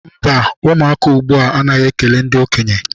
Mba, ụmụaka ugbua anaghị ekele ndị okenye.